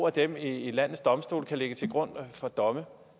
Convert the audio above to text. af dem i landets domstole kan lægges til grund for domme